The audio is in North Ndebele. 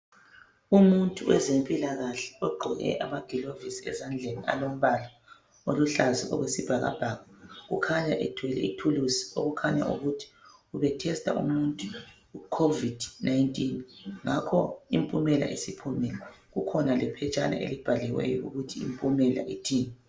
Umuntu wezempilakahle ogqoke amagilovisi ezandleni alombala oluhlaza okwesibhakabhaka ukhanya ethwele ithuluzi okukhanya ukuthi ube "tester" umuntu icovid 19 ngakho impumela isiphumile kukhona lephetshana elibhaliweyo ukuthi impumela ithini.